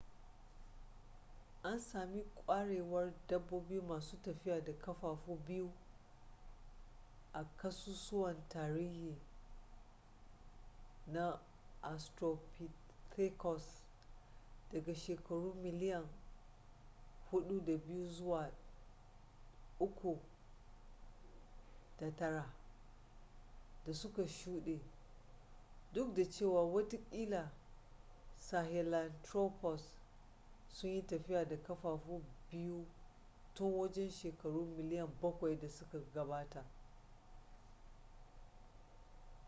an sami kwarewar dabbobi masu tafiya da kafafu biyu a ƙasusuwan tarihi na australopithecus daga shekaru miliyan 4.2-3.9 da suka shude duk da cewa watakila sahelanthropus sun yi tafiya da kafafu biyu tun wajen shekaru miliyan bakwai da suka gabata